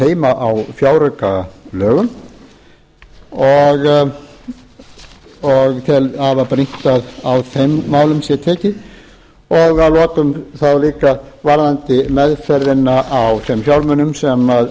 heima á fjáraukalögum og tel að afar brýnt að á þeim málum sé tekið og að lokum þá líka varðandi meðferðina á þeim fjármunum sem